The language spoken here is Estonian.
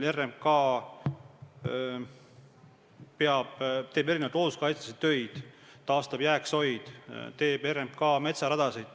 RMK teeb looduskaitselisi töid, taastab jääksoid, teeb metsaradasid jne.